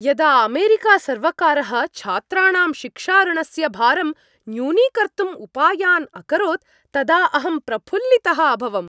यदा अमेरिकासर्वकारः छात्राणां शिक्षाऋणस्य भारम् न्यूनीकर्तुम् उपायान् अकरोत् तदा अहं प्रफुल्लितः अभवम्।